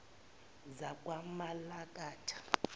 zakwamalakatha